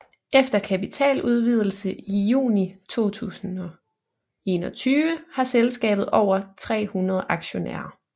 Efter kapitaludvidelse i juni 2021 har selskabet over 300 aktionærer